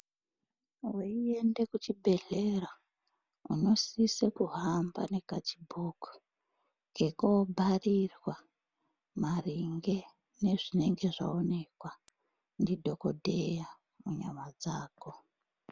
Veiende kuzvibhedhlera unosise kuhamba nekachibhuku kekobharirwa maringe nezvinonga zvaonekwa ndidhogodheya munyama dzako.